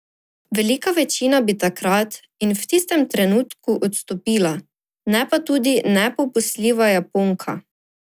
Velika večina bi takrat in v tistem trenutku odstopila, ne pa tudi nepopustljiva Japonka.